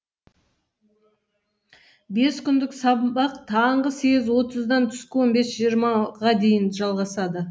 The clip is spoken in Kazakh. бес күндік сабақ таңғы сегіз отыздан түскі он бес жиырмаға дейін жалғасады